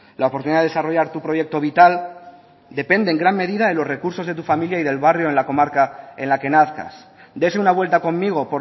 la oportunidad de desarrollar tu proyecto vital depende en gran medida de los recursos de tu familia y del barrio en la comarca en la que nazcas dese una vuelta conmigo